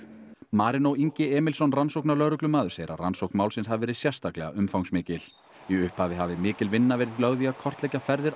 Marinó Ingi Emilsson rannsóknarlögreglumaður segir að rannsókn málsins hafi verið sérstaklega umfangsmikil í upphafi hafi mikil vinna verið lögð í að kortleggja ferðir